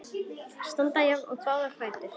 Standa jafnt í báða fætur.